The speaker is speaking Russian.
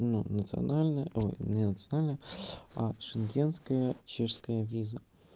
ну национальная ой не национальная а шенгенская чешская виза